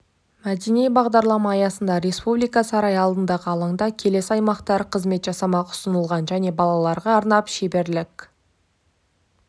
мәдени бағдарлама аясында республика сарайы алдындағы алаңда келесі аймақтар қызмет жасамақ ұсынылған және балаларға арнап шеберлік